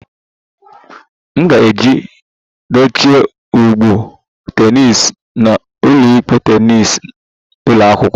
M ga-eji dochie ụgbụ tennis n'ụlọikpe tennis ụlọ akwụkwọ m